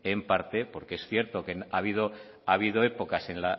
en parte porque es cierto que ha habido épocas